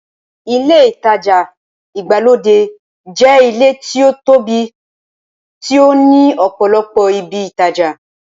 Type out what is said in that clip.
Ilé ìtajà ìgbàlódé jẹ́ ilé tí ó tóbi tí ó ní ọ̀pọ̀lọpọ̀ ibi ìtajà.